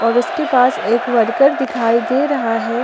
और उसके पास एक वर्कर दिखाई दे रहा है।